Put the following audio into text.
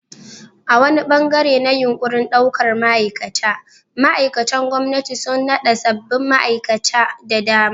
A wani ɓangare na yunƙurin ɗaukar ma'aikata, ma'aikatan gwamnati sun naɗa sabbin ma'aikata da dama.